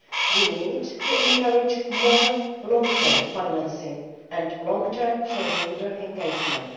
We need to encourage more long term financing and long term shareholder engagement.